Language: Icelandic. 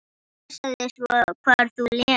Passaðu svo hvar þú lemur.